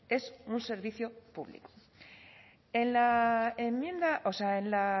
es un servicio público en la enmienda o sea en la